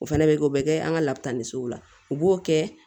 O fɛnɛ bɛ kɛ o bɛ kɛ an ka labita ni sow la u b'o kɛ